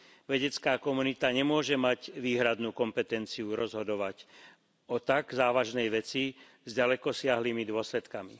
Vedecká komunita nemôže mať výhradnú kompetenciu rozhodovať o tak závažnej veci s ďalekosiahlymi dôsledkami.